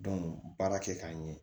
baara kɛ k'a ɲɛ